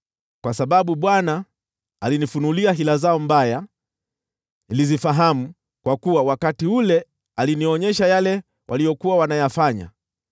Kwa sababu Bwana alinifunulia hila zao mbaya, nilizifahamu, kwa kuwa wakati ule alinionyesha yale waliyokuwa wanayafanya.